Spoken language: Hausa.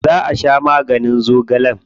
Yauce za a sha maganin zogalen?